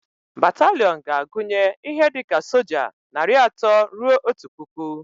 Bataliiọn ga-agunye ihe dika soja narị atọ rue otu pụkụ